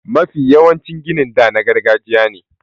Mafi yawancin ginin da na gargajiya ne.